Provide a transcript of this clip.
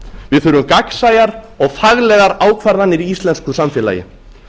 við þurfum gagnsæjar og faglegar ákvarðanir í íslensku samfélagi